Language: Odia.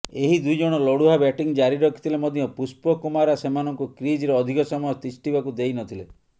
ଏହି ଦୁଇଜଣ ଲଢୁଆ ବ୍ୟାଟିଂ ଜାରି ରଖିଥିଲେ ମଧ୍ୟ ପୁଷ୍ପକୁମାରା ସେମାନଙ୍କୁ କ୍ରିଜରେ ଅଧିକ ସମୟ ତିଷ୍ଠିବାକୁ ଦେଇନଥିଲେ